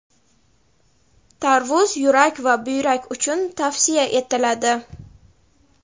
Tarvuz — yurak va buyrak uchun tavsiya etiladi.